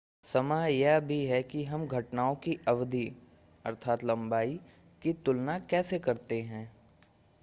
समय यह भी है कि हम घटनाओं की अवधि लंबाई की तुलना कैसे करते हैं